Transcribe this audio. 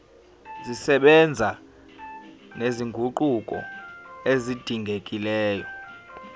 zisebenza nezinguquko ezidingekile